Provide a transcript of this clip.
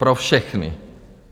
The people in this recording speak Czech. Pro všechny.